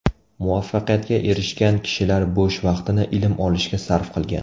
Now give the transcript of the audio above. Muvaffaqiyatga erishgan kishilar bo‘sh vaqtini ilm olishga sarf qilgan.